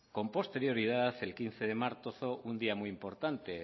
con posterioridad el quince de marzo un día muy importante